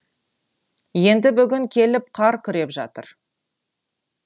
енді бүгін келіп қар күреп жатыр